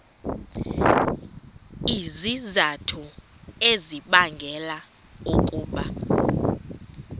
izizathu ezibangela ukuba